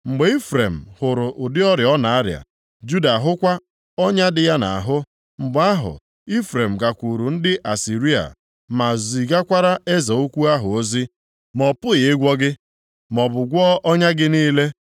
“Mgbe Ifrem hụrụ ụdị ọrịa ọ na-arịa, Juda ahụkwa ọnya dị ya nʼahụ, mgbe ahụ Ifrem gakwuru ndị Asịrịa, ma zigakwara eze ukwu ahụ ozi. Ma ọ pụghị ịgwọ gị, maọbụ gwọọ ọnya gị niile.